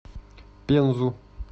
пензу